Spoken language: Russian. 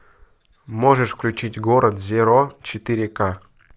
можешь включить город зеро четыре к